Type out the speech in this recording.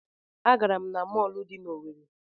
Agara m na mọọlụ dị n'Owerre.